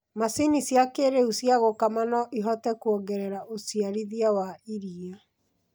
Macini cia kĩrĩu cia gũkama no ihote kuongerera ũciarithia wa iria